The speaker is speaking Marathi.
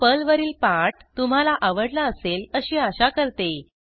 हा पर्लवरील पाठ तुम्हाला आवडला असेल अशी आशा करते